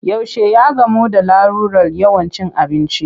Yaushe ya gamu da larurar yawan cin abinci?